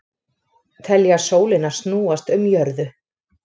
Telja sólina snúast um jörðu